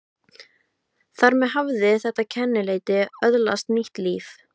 Þar með hafði þetta kennileiti öðlast nýtt líf.